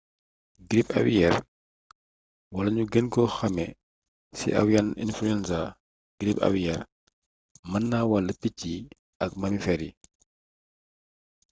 girip awiyeer wala ñu gën ko xamee ci avian influenza girip awiyeer mën naa wàll picc yi ak mamifeer yi